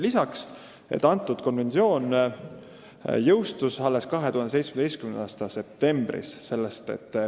Lisaks, konventsioon jõustus alles 2017. aasta septembris.